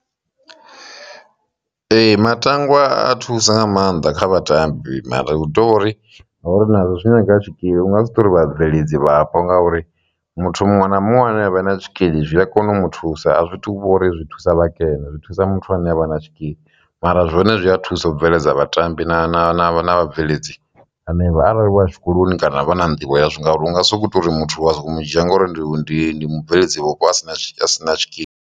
Ee, matangwa a thusa nga maanḓa kha vhatambi mara hu tovhori nazwo zwi nyanga tshikili u nga si tori vhabveledzi vhapo ngauri muthu muṅwe na muṅwe ane avha na tshikili zwi a kona u mu thusa a zwithu vha uri zwi thusa vhakene zwi thusa muthu ane avha na tshikili, mara zwone zwi a thusa u bveledza vhatambi na na na na vhabveledzi hanevha arali vho ya tshikoloni kana vha na nḓivho yazwo ngauri unga sokou tou uri muthu a soko mu dzhia ngori ndi ndi ndi mubveledzi vhupo asina a si na tshikili.